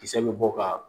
Kisɛ bɛ bɔ ka